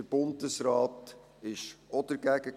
Der Bundesrat war auch dagegen.